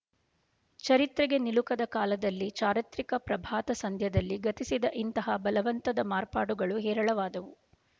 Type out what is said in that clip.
ಚರಿತ್ರೆಗೆ ನಿಲುಕದ ಕಾಲದಲ್ಲಿ ಚಾರಿತ್ರಿಕ ಪ್ರಭಾತ ಸಂಧ್ಯದಲ್ಲಿ ಗತಿಸಿದ ಇಂತಹ ಬಲವಂತದ ಮಾರ್ಪಾಡುಗಳು ಹೇರಳವಾದವು